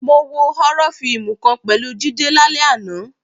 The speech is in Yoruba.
Mo wo họ́rọ́ fíìmù kan pẹ̀lú Jídé lálẹ́ àná